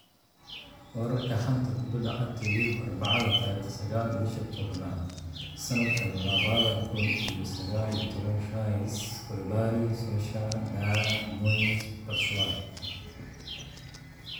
Wararka xanta kubada cagta Yurub Arbacada tariq sagal bisha tobnaad sanadka labada kun iyo sagal iyo taban Rice, Koulibaly, Solskjaer, Dier, Moyes, Batshuayi